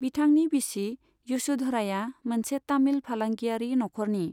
बिथांनि बिसि यशोधराया मोनसे तामिल फालांगियारि नख'रनि।